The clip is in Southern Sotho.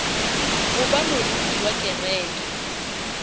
ho ba moruti wa kereke